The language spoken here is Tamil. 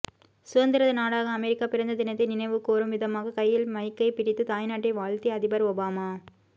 சுதந்திர நாடாக அமெரிக்கா பிறந்த தினத்தை நினைவுகூரும் விதமாக கையில் மைக்கை பிடித்து தாய்நாட்டை வாழ்த்தி அதிபர் ஒபாமா